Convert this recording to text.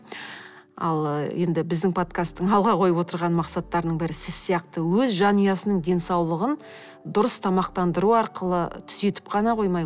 ал енді біздің подкасттың алға қойып отырған мақсаттарының бірі сіз сияқты өз жанұясының денсаулығын дұрыс тамақтандыру арқылы түзетіп қана қоймай